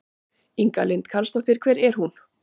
Inga Lind Karlsdóttir: Hver er hún?